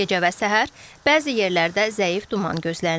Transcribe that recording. Gecə və səhər bəzi yerlərdə zəif duman gözlənilir.